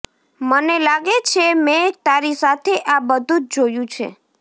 મને લાગે છે મેં તારી સાથે આ બધું જ જોયું છે